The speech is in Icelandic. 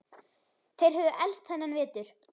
Þeir höfðu elst þennan vetur.